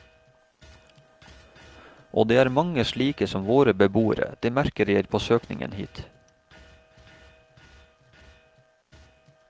Og det er mange slike som våre beboere, det merker jeg på søkningen hit.